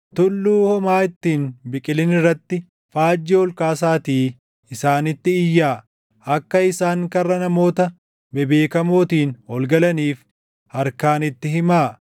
Tulluu homaa itti hin biqilin irratti faajjii ol kaasaatii isaanitti iyyaa; akka isaan karra namoota bebeekamootiin ol galaniif harkaan itti himaa.